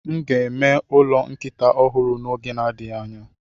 M ga-eme ụlọ nkịta ọhụrụ n'oge na-adịghị anya.